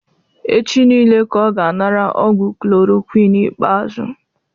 Echi nille ka ọ ga anara ọgwụ chloroquine ikpeazụ